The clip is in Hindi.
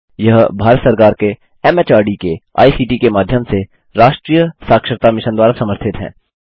यह भारत सरकार के एमएचआरडी के आईसीटी के माध्यम से राष्ट्रीय साक्षरता मिशन द्वारा समर्थित है